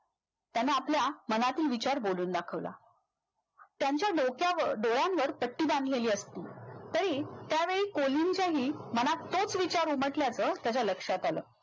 त्यांना आपल्या मनातील विचार बोलून दाखवला त्यांच्या डोक्या डोळ्यांवर पट्टी बांधलेली असली तरी त्या वेळी कोलीनच्याही मनातही तोच विचार उमटल्याच त्याचा लक्षात आल